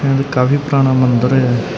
ਕਾਫੀ ਪੁਰਾਣਾ ਮੰਦਰ ਹ ।